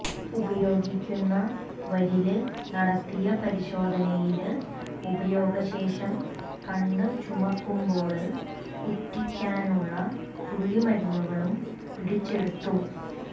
ഉപയോഗിക്കുന്നവരില് നടത്തിയ പരിശോധനയില് ഉപയോഗ ശേഷം കണ്ണ് ചുമക്കുമ്പോള് ഉറ്റിക്കാനുള്ള തുള്ളി മരുന്നുകളും പിടിച്ചെടുത്തു